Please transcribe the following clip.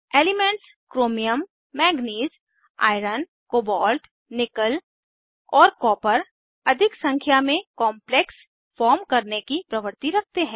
elements chromium manganese iron cobalt nickel और copper अधिक संख्या में कॉम्प्लेक्स फॉर्म करने की प्रवृत्ति रखते हैं